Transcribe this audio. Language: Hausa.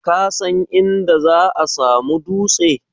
Kasan inda za'a samu dutse?